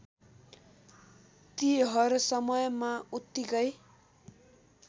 ती हरसमयमा उत्तिकै